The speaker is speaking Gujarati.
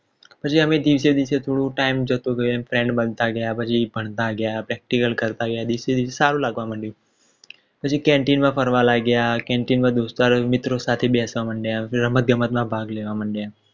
પછી આપણે દિવસે દિવસે થોડો time જતો રહ્યો પછી friend બનતા ગયા પછી ભણતા ગયા Practical કરતા ગયા દિવસે દિવસે સારું લાગવા લાગ્યું પછી Canteen માં ફરવા લાગ્યા Canteen માં મિત્રો સાથે બેસવા મંડ્યા પછી રમત ગમતમાં ભાગ લેવા મંડ્યા